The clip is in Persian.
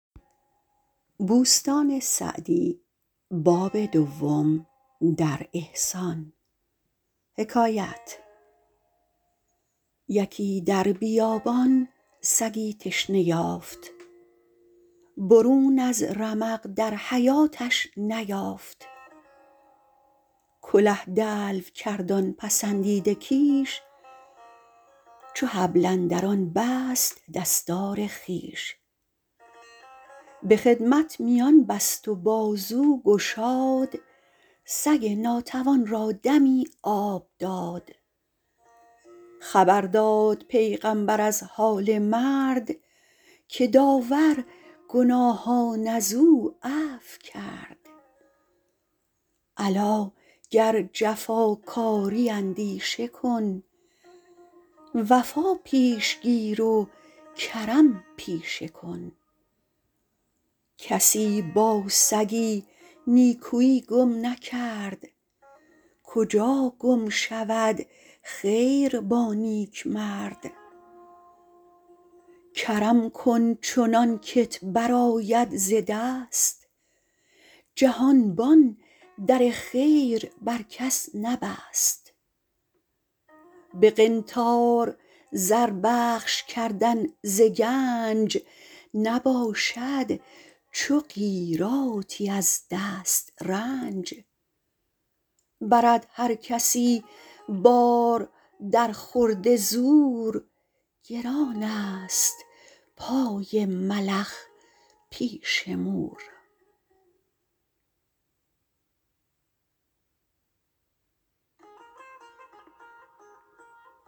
یکی در بیابان سگی تشنه یافت برون از رمق در حیاتش نیافت کله دلو کرد آن پسندیده کیش چو حبل اندر آن بست دستار خویش به خدمت میان بست و بازو گشاد سگ ناتوان را دمی آب داد خبر داد پیغمبر از حال مرد که داور گناهان از او عفو کرد الا گر جفاکاری اندیشه کن وفا پیش گیر و کرم پیشه کن کسی با سگی نیکویی گم نکرد کجا گم شود خیر با نیکمرد کرم کن چنان که ت برآید ز دست جهانبان در خیر بر کس نبست به قنطار زر بخش کردن ز گنج نباشد چو قیراطی از دسترنج برد هر کسی بار در خورد زور گران است پای ملخ پیش مور